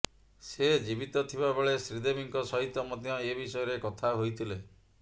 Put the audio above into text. ସେ ଜୀବିତ ଥିବା ବେଳେ ଶ୍ରୀଦେବୀଙ୍କ ସହିତ ମଧ୍ୟ ଏ ବିଷୟରେ କଥା ହୋଇଥିଲେ